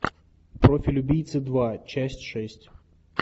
профиль убийцы два часть шесть